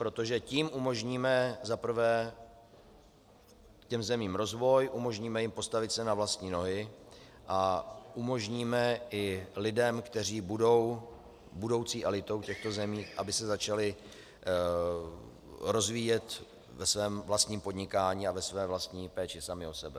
Protože tím umožníme za prvé těm zemím rozvoj, umožníme jim postavit se na vlastní nohy a umožníme i lidem, kteří budou budoucí elitou těchto zemí, aby se začali rozvíjet ve svém vlastním podnikání a ve své vlastní péči sami o sebe.